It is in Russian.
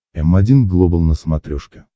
м один глобал на смотрешке